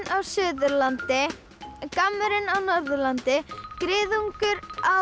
á Suðurlandi en gammurinn á Norðurlandi griðungur á